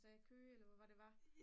hvad Køge eller hvor var det det var